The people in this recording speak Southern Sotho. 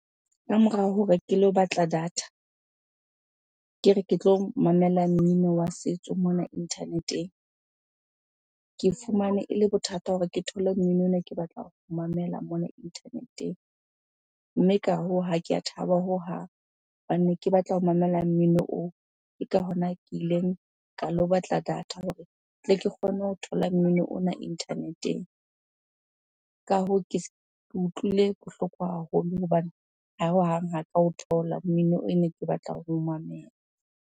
Ka morao hore ke lo batla data, ke re ke tlo mamela mmino wa setso mona internet-eng. Ke fumane ele bothata hore ke thole mmino ona ke batla ho o mamela mona internet-eng. Mme ka hoo, ha ke a thaba hohang hobane ne ke batla ho mamela mmino oo. Ke ka hona ke ileng ka lo batla data hore tle ke kgone ho thola mmino ona internet-eng. Ka hoo, ke utlwile bohloko haholo hobane hohang ha ka o thola mmino ene ke batla ho mamela.